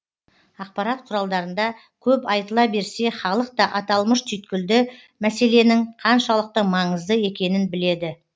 ақпарат құралдарында көп айтыла берсе халық та аталмыш түйткілді мәселенің қаншалықты маңызды екенін біледі